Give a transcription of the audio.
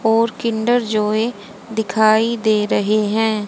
और Kinder Joy दिखाई दे रहे हैं।